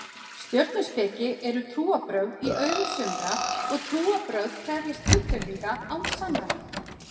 Stjörnuspeki eru trúarbrögð í augum sumra og trúarbrögð krefjast fullyrðinga án sannana.